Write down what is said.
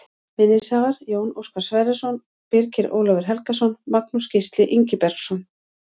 Vinningshafar: Jón Óskar Sverrisson Birgir Ólafur Helgason Magnús Gísli Ingibergsson